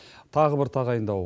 тағы бір тағайындау